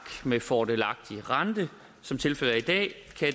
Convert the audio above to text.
med fordelagtig rente som tilfældet er